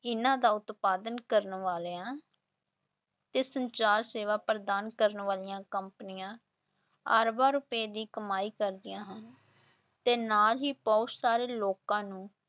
ਇਹਨਾਂ ਦਾ ਉਤਪਾਦਨ ਕਰਨ ਵਾਲਿਆਂ ਤੇ ਸੰਚਾਰ ਸੇਵਾ ਪ੍ਰਦਾਨ ਕਰਨ ਵਾਲੀਆਂ ਕੰਪਨੀਆਂ ਅਰਬਾਂ ਰੁਪਏ ਦੀ ਕਮਾਈ ਕਰਦੀਆਂ ਹਨ, ਤੇ ਨਾਲ ਹੀ ਬਹੁਤ ਸਾਰੇ ਲੋਕਾਂ ਨੂੰ